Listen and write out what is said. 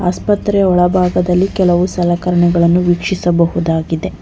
ಆಸ್ಪತ್ರೆಯ ಒಳಭಾಗದಲ್ಲಿ ಕೆಲವು ಸಲಕರಣೆಗಳನ್ನು ವೀಕ್ಷಿಸಬಹುದಾಗಿದೆ.